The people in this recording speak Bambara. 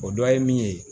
O dɔ ye min ye